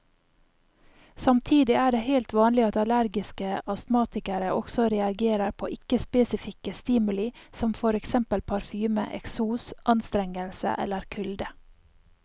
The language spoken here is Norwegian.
Samtidig er det helt vanlig at allergiske astmatikere også reagerer på ikke spesifikke stimuli som for eksempel parfyme, eksos, anstrengelse eller kulde.